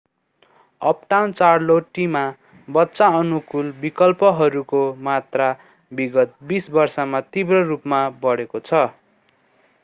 uptown चार्लोटीमा बच्चा अनुकूल विकल्पहरूको मात्रा विगत 20 वर्षमा तीव्र रूपमा बढेको छ